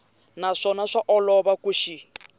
naswona swa olova ku xi